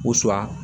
Sura